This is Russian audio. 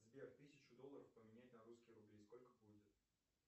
сбер тысячу долларов поменять на русские рубли сколько будет